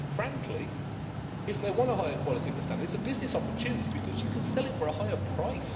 Frankly, if they want a higher quality and standard, it's a business opportunity because you can sell it for a higher price.